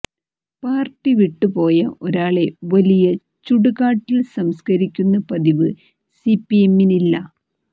party വിട്ടുപോയ ഒരാളെ വലിയ ചുടുകാട്ടിൽ സംസ്ക്കരിക്കുന്ന പതിവ് സി പി എമ്മിനില്ല